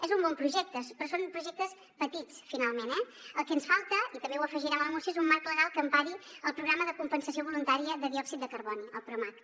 és un bon projecte però són projectes petits finalment eh el que ens falta i també ho afegirem a la moció és un marc legal que empari el programa de compensació voluntària de diòxid de carboni el promacc